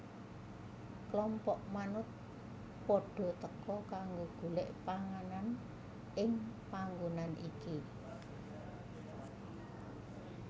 Klompok manuk padha teka kanggo golek panganan ing panggonan iki